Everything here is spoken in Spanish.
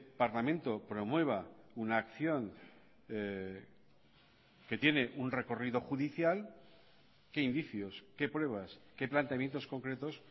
parlamento promueva una acción que tiene un recorrido judicial qué indicios qué pruebas qué planteamientos concretos